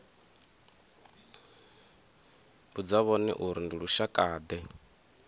vhudza vhone uri ndi lushakade